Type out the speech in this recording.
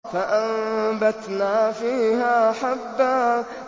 فَأَنبَتْنَا فِيهَا حَبًّا